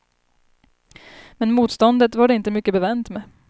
Men motståndet var det inte mycket bevänt med.